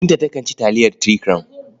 Binta takan ci taliyar Three Crown.